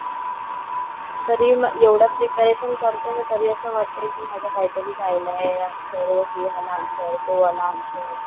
तरी एवढं प्रिपरेशन करते ना तरी असं वाटतंय की माझं काहीतरी राहिलंय या विसरलेय हे वाला आन्सर, तो वाला आन्सर.